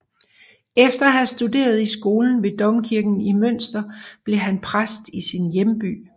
Efter at have studeret i skolen ved domkirken i Münster blev han præst i sin hjemby